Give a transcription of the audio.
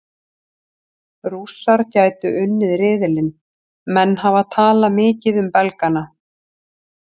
Rússar gætu unnið riðilinn Menn hafa talað mikið um Belgana.